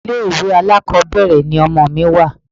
Ilé ìwé alákọ̀ọ́bẹ̀rẹ̀ ni ọmọ mi wà.